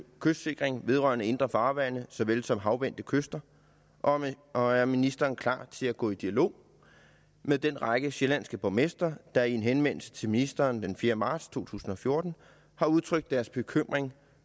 kystsikring vedrørende indre farvande såvel som havvendte kyster og og er ministeren klar til at gå i dialog med den række sjællandske borgmestre der i en henvendelse til ministeren den fjerde marts to tusind og fjorten har udtrykt deres bekymring